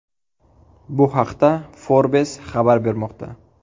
Bu haqda Forbes xabar bermoqda .